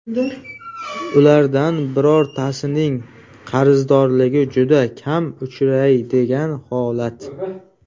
Ulardan birortasining qarzdorligi juda kam uchraydigan holat.